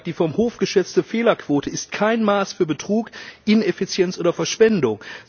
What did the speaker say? Der Hof sagt Die vom Hof geschätzte Fehlerquote ist kein Maß für Betrug, Ineffizienz oder Verschwendung.